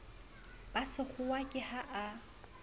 ba sekgowa ke ha a